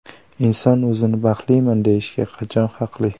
Inson o‘zini baxtliman deyishga qachon haqli?